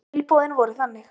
Tilboðin voru þannig